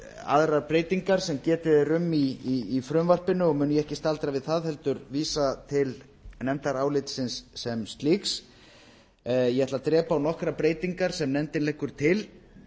aðrar breytingar sem getið er um í frumvarpinu og mun ég ekki staldra við það heldur vísa til nefndarálitsins sem slíks ég ætla að drepa á nokkrar breytingar sem nefndin leggur til